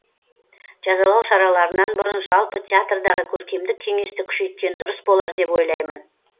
жазалау шараларынан бұрын жалпы театрдағы көркемдік кеңесті күшейткен дұрыс болар деп ойлаймын